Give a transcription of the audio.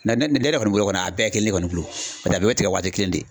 ne yɛrɛ kɔni bolo a bɛɛ ye kelen ye ne kɔni bolo . Paseke a bɛɛ bɛ tigɛ waati kelen de.